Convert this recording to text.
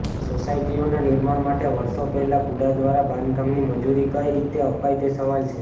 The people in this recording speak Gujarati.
સોસાયટીઓનાં નિર્માણ માટે વર્ષો પહેલા ગુડા દ્વારા બાંધકામની મંજુરી કઇ રીતે અપાઇ તે સવાલ છે